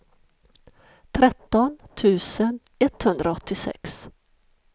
tretton tusen etthundraåttiosex